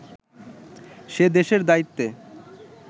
সে দেশের দায়িত্বে